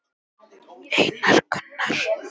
Einar Gunnar.